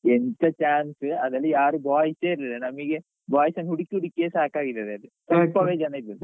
ಎಂತ chance ಅದ್ರಲ್ಲಿ ಯಾರೂ boys ಎ ಇರ್ಲಿಲ್ಲ ನಮಿಗೆ boys ಅನ್ನು ಹುಡುಕಿ ಹುಡುಕಿಯೇ ಸಾಕಾಗಿದೆ ಅದ್ರಲ್ಲಿ. ಸ್ವಲ್ಪವೆ ಜನ ಇದದ್ದು.